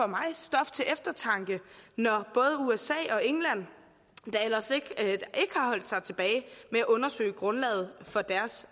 mig stof til eftertanke når både usa og england ikke har holdt sig tilbage med at undersøge grundlaget for deres